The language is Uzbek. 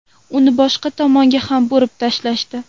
Uni boshqa tomonga ham burib tashlashdi.